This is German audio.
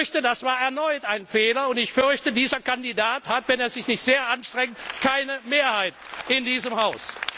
Ich fürchte, das war erneut ein Fehler, und ich fürchte, dieser Kandidat hat, wenn er sich nicht sehr anstrengt, keine Mehrheit in diesem